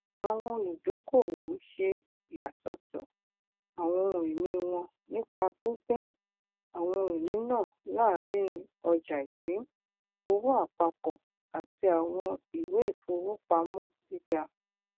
àwọn olùdókòówò ń ṣe ìyàsọtọ àwọn ohunìní wọn nípa pínpín àwọn ohunìní náà láàárín ọjàipìn owóàpapọ àti àwọn ìwéifowopamọgíga